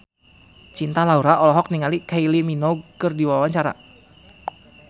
Cinta Laura olohok ningali Kylie Minogue keur diwawancara